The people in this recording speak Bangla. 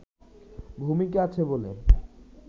ভূমিকা আছে বলে